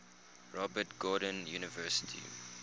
robert gordon university